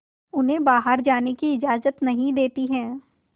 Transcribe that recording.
उन्हें बाहर जाने की इजाज़त नहीं देती है